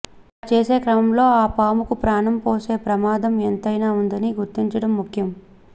అలా చేసే క్రమంలో ఆ పాముకు ప్రాణం పొసే ప్రమాదం ఎంతైనా ఉందని గుర్తించడం ముఖ్యం